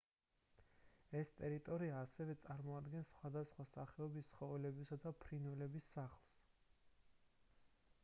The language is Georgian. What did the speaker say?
ეს ტერიტორია ასევე წარმოადგენს სხვადასხვა სახეობის ცხოველებისა და ფრინველების სახლს